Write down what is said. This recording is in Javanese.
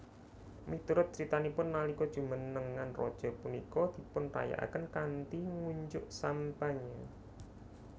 Miturut critanipun nalika jumenengan raja punika dipunrayakaken kanthi ngunjuk sampanye